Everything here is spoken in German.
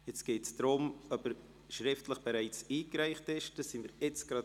Jetzt geht es darum, ob er schriftlich bereits eingereicht ist – das klären wir jetzt gerade.